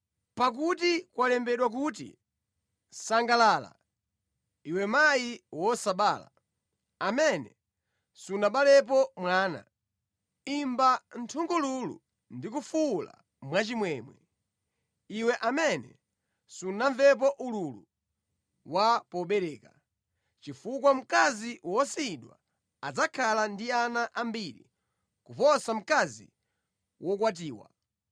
Pakuti kwalembedwa kuti, “Sangalala, iwe mayi wosabala, amene sunabalepo mwana; imba nthungululu ndi kufuwula mwachimwemwe, iwe amene sunamvepo ululu wa pobereka; chifukwa mkazi wosiyidwa adzakhala ndi ana ambiri kuposa mkazi wokwatiwa.”